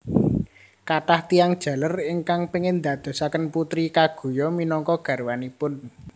Kathah tiyang jaler ingkang pengin ndadosaken Putri Kaguya minangka garwanipun